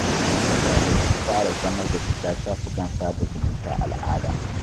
Mutane sun fara zamar da shiga shafukan sada zumunta al'ada.